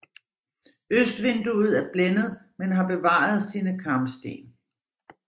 Østvinduet er blændet men har bevaret sine karmsten